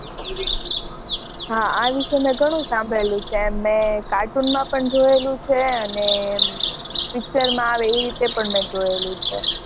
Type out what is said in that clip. હા વિષે મેં ઘણું સાંભળેલું છે મેં cartoon માં પણ જોયેલું છે અને picture માં પણ જોયેલું છે